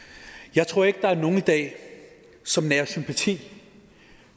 jeg tror ikke der er nogle i dag som nærer sympati